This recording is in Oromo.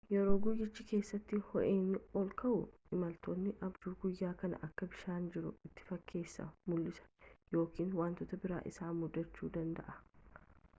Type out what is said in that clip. yeroo guyyicha keessatti ho’inni ol ka’u imaltootni abjuu guyyaa kan akka bishaan jiru itti fakkeesse mul’isu yookiin wantoota biraa isaan mudachuu danda’a